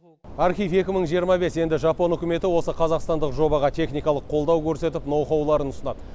архив екі мың жиырма бес енді жапон үкіметі осы қазақстандық жобаға техникалық қолдау көрсетіп ноухауларын ұсынады